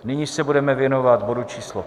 Nyní se budeme věnovat bodu číslo